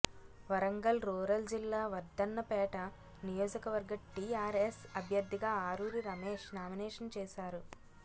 Warangal rural జిల్లా వర్ధన్నపేట నియోజకవర్గ టీఆర్ఎస్ అభ్యర్థిగా అరూరి రమేష్ నామినేషన్ వేశారు